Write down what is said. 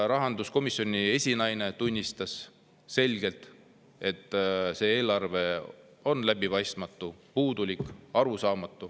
Rahanduskomisjoni esinaine tunnistas, et see eelarve on läbipaistmatu, puudulik ja arusaamatu.